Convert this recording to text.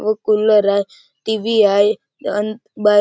तो कूलर हाय टी.वी. हायअन बाय --